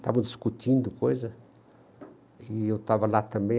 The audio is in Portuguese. Estavam discutindo coisa e eu estava lá também.